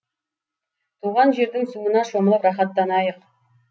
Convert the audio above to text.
туған жердің суына шомылып рахаттанайық